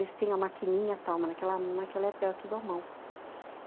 Eles têm a maquininha e tal, mas naquela época era tudo à mão.